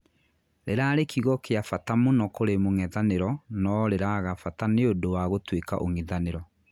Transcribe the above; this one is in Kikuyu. Rirarĩ kiugo kia bata mũno kũrĩ mũngĩthañĩro noo riraaga bataniũndũ wa gũtũika ung'ithaniro.